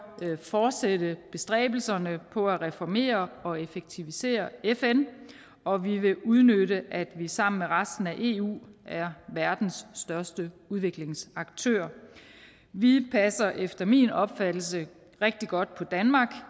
fortsætte bestræbelserne på at reformere og effektivisere fn og vi vil udnytte at vi sammen med resten af eu er verdens største udviklingsaktør vi passer efter min opfattelse rigtig godt på danmark